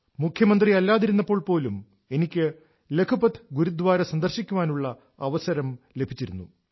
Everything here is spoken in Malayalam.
മുഖ്യമന്ത്രി അല്ലാതിരുന്നപ്പോൾ പോലും എനിക്ക് ലഖ്പത് ഗുരുദ്വാര സന്ദർശിക്കാനുള്ള അവസരം ലഭിച്ചിരുന്നു